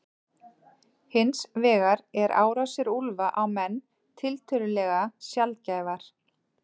Hins vegar eru árásir úlfa á menn tiltölulega sjaldgæfar.